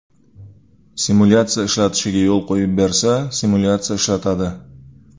Simulyatsiya ishlatishiga qo‘yib bersa, simulyatsiya ishlatadi.